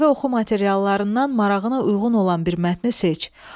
Əlavə oxu materiallarından marağına uyğun olan bir mətni seç.